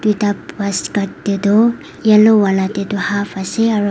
ete bas kat ke tu yellow vala te tu half ase aru.